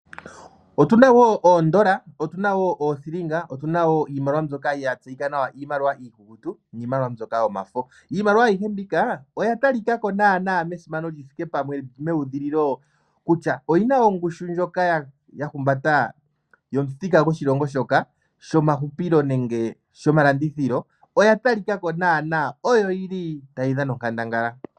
Otuna wo oondola otuna wo niithilinga iimaliwa mbyoka ya tseyika nawa iikukutu niimaliwa mbyoka yomafo. Iimaliwa ayihe mbika oya talika ko naana mesimano lyithike pamwe meudhililo kutya oyina wo ongushu ndjoka ya humbata yomuthika goshilongo shoka shomahupilo nenge shomalandithilo. Oya talika ko naana oyo yi li tayi dhana onkandangala.